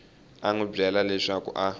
n wi byela leswaku a